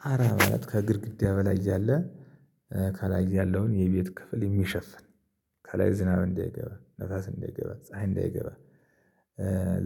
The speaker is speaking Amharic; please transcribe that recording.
ጣራ ማለት ከግድግዳ በላይ ያለ፣ ከላይ ያለውን የቤት ክፍል የሚሸፍን ከላይ ዝናብ እንዳይገባ ነፋስ እንዳይገባ ፀሀይ እንዳይገባ